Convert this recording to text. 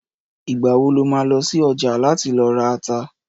Ìgbà wo lo má lọ sí ọjà láti lọ ra ata?